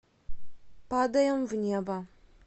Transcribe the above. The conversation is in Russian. падаем в небо